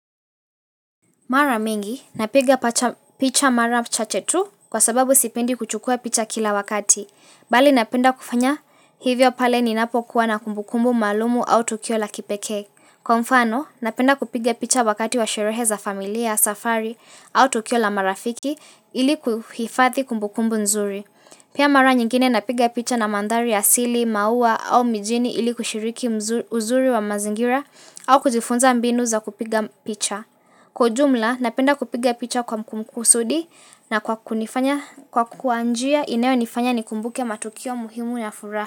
Mara mingi, napiga picha mara chache tu kwa sababu sipinde kuchukua picha kila wakati. Bali napenda kufanya hivyo pale ninapo kuwa na kumbukumbu malumu au tukio la kipeke. Kwa mfano, napenda kupiga picha wakati wa sherehe za familia, safari au tukio la marafiki ili kuhifathi kumbukumbu nzuri. Pia mara nyingine napiga picha na mandhari asili, maua au mijini ili kushiriki uzuri wa mazingira au kujifunza mbinu za kupiga picha. Kwa jumla napenda kupiga picha kwa mkumu kusudi na kwa kunifanya kwa kuanjia inayo nifanya nikumbuke matukio muhimu na furafa.